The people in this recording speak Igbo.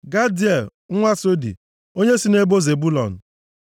Gadiel nwa Sodi, onye si nʼebo Zebụlọn.